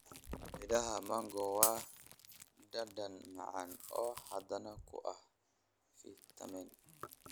Midhaha mango waa dhadhan macaan oo hodan ku ah fiitamiin.